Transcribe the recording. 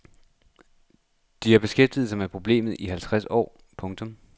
De har beskæftiget sig med problemet i halvtreds år. punktum